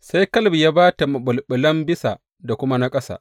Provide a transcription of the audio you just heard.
Sai Kaleb ya ba ta maɓulɓulan bisa da kuma na ƙasa.